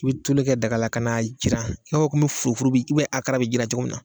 I bi tulu kɛ dagala ka na jiran i b'a fɔ komi furufuru bi akara bi jiran cogo min na